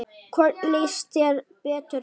Hvorn líst þér betur á?